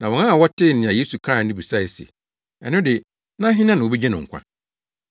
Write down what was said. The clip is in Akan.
Na wɔn a wɔtee nea Yesu kae no bisae se, “Ɛno de, na hena na wobegye no nkwa?”